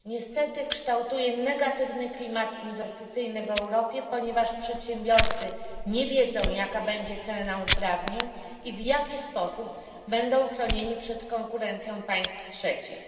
Niestety kształtuje negatywny klimat inwestycyjny w Europie, ponieważ przedsiębiorcy nie wiedzą, jaka będzie cena uprawnień i w jaki sposób będą chronieni przed konkurencją państw trzecich.